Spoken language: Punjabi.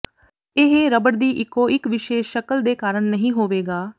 ਇਹ ਰਬੜ ਦੀ ਇਕੋ ਇਕ ਵਿਸ਼ੇਸ਼ ਸ਼ਕਲ ਦੇ ਕਾਰਨ ਨਹੀਂ ਹੋਵੇਗਾ